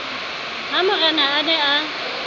ha morena a ne a